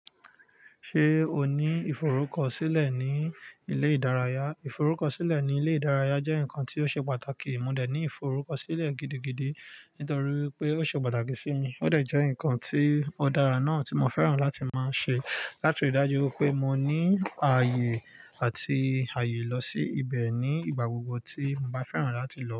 Ṣé o ní ìforúkọ̀sílẹ̀ ní ilé ìdárayá? Ìforúkọ̀sílẹ̀ ní ilé ìdárayá jẹ́ nǹkan tí ó ṣe pàtàkì, mo dẹ̀ ní ìforúkọ̀sílẹ̀ gidigidi nítorí pé ó ṣe pàtàkì sí mi, ó dẹ̀ jẹ́ nǹkan tí ó dára náà tí mo fẹ́ràn láti máa ṣe, láti rí dájú pé mo ní ààyè àti ààyè lọ sí ibẹ̀ ní ìgbà gbogbo tí mo bá fẹ́ràn láti lọ.